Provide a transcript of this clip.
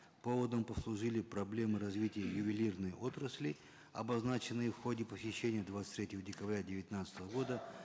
поводом послужили проблемы развития ювелирной отрасли обозначенные в ходе посещения двадцать третьего декабря девятнадцатого года